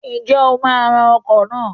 Ǹjẹ́ o máa ra ọkọ̀ náà?